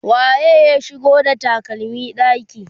waye ya shigo da takalmi ɗaki?